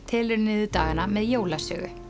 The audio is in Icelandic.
telur niður dagana með jólasögu